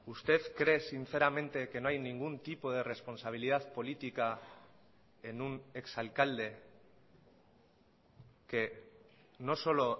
usted cree sinceramente que no hay ningún tipo de responsabilidad política en un ex alcalde que no solo